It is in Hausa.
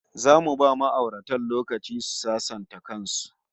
Zamu ba ma'auratan lokaci su sasanta kan su